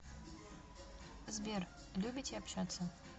сбер любите общаться